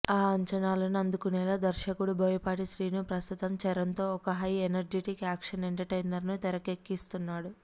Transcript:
ఆ అంచనాలను అందుకునేలా దర్శకుడు బోయపాటి శ్రీను ప్రస్తుతం చరణ్తో ఒక హై ఎనర్జిటిక్ యాక్షన్ ఎంటర్టైనర్స్ను తెరకెక్కిస్తున్నాడు